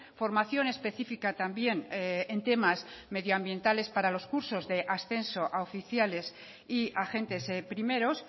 formación específica también en temas medioambientales para los cursos de ascenso a oficiales y agentes primeros